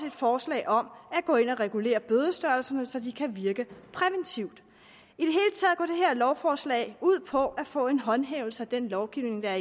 et forslag om at gå ind og regulere bødestørrelserne så de kan virke præventivt i lovforslag ud på at få en styrket håndhævelse af den lovgivning der